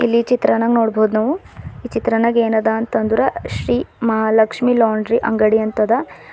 ಈ ಚಿತ್ರಣ ನಗ್ ನೋಡ್ ಬವುದ್ ನಾವು ಈ ಚಿತ್ರನಗ್ ಏನ್ ಅದ ಅಂತ ಅಂದ್ರ ಶ್ರೀ ಮಹಾ ಲಕ್ಷ್ಮಿ ಲಾಂಡ್ರಿ ಅಂಗಡಿ ಅಂತ ಅದ ಈ--